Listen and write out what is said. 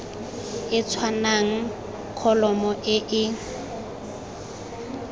e tshwanang kholomo e e